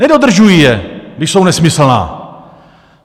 Nedodržují je, když jsou nesmyslná!